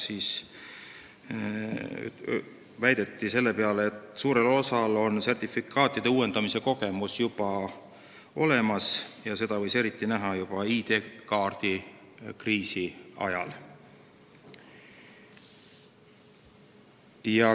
Selle peale väideti, et suurel osal kasutajatest on sertifikaatide uuendamise kogemus juba olemas, mida võis eriti näha ID-kaardi kriisi ajal.